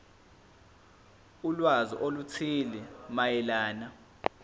ulwazi oluthile mayelana